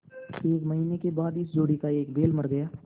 एक महीने के बाद इस जोड़ी का एक बैल मर गया